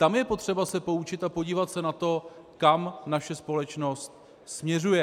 Tam je potřeba se poučit a podívat se na to, kam naše společnost směřuje.